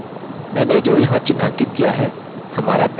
मैंने जो यहाँ चिन्हांकित किया है हमारा पैरामीटर है